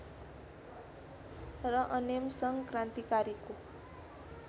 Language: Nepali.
र अनेमसङ्घ क्रान्तिकारीको